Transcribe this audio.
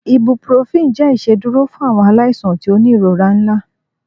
ibuprofen jẹ iṣeduro fun awọn alaisan ti o ni irora nla